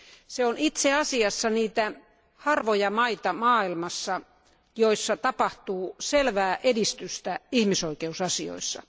Se on itse asiassa niitä harvoja maita maailmassa, joissa tapahtuu selvää edistystä ihmisoikeusasioissa.